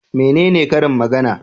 Menene karin magana?